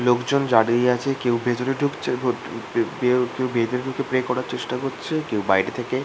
লোকজন দাঁড়িয়ে আছে কেউ ভেতরে ঢুকছে কেউ ভেতরও ঢুকে প্রে করার চেষ্টা করছে কেউ বাইরে থেকে ।